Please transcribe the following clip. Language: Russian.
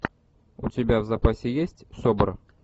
у тебя в запасе есть собр